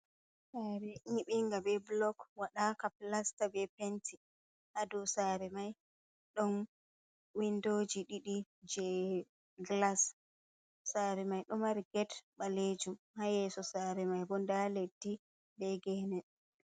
Saare nyibinga be blok waɗa ka plasta be penti, hado sare mai ɗon windoji ɗiɗi je glas, sare mai ɗo mari get balejum ha yeso sare mai bo nda leddi be gene.